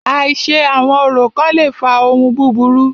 Àìṣe àwọn orò kán le fa ohun búburú.